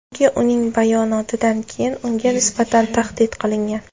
Chunki uning bayonotidan keyin unga nisbatan tahdid qilingan.